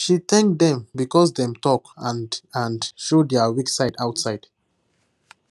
she thank dem because dem talk and and show their weak side outside